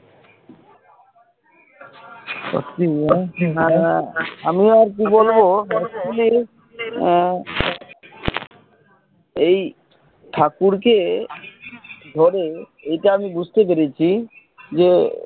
আমিও আর কি বলবো actually আহ এই ঠাকুরকে ধরে এইটা আমি বুঝতে পেরেছি যে